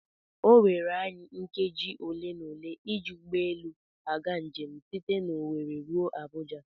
Oweere anyị nkeji ole na ole ịji ụgbọelu aga njem site n'Owere ruo Abuja.